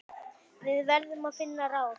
Við verðum að finna ráð.